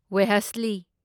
ꯋꯦꯍꯁꯂꯤ